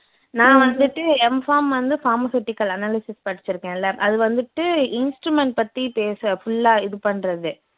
நான் வந்துட்டு M farm வந்து pharmaceutical analysis படிச்சுருக்கேன்ல அது வந்துட்டு instrument பத்தி பேச full ஆ இது பண்றது